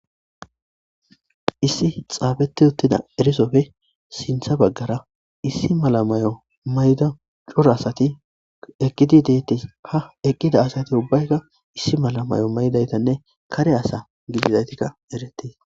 Issi xafeti uttidaysi erisoppe sintha bagara issi mala mayo mayida c'ora asati eqidi dettes ha eqida asati ubbayka issi mala mayo mayidatanne kare ASA gididati eretes.